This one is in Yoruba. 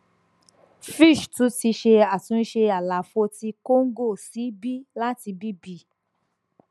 fitch tun ti ṣe atunṣe àlàfo ti congo si b lati bb